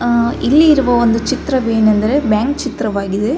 ಆ ಇಲ್ಲಿರುವ ಒಂದು ಚಿತ್ರವೇನೆಂದರೆ ಬ್ಯಾಂಕ್ ಚಿತ್ರವಾಗಿದೆ .